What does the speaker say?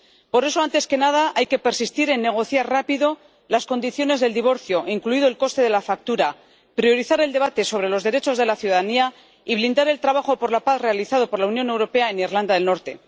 Por eso, antes que nada, hay que persistir en negociar rápidamente las condiciones del divorcio, incluido el coste de la factura, priorizar el debate sobre los derechos de la ciudadanía y blindar el trabajo por la paz realizado por la Unión Europea en Irlanda del Norte.